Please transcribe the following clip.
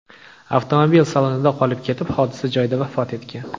avtomobil salonida qolib ketib, hodisa joyida vafot etgan.